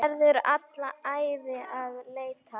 Verður alla ævi að leita.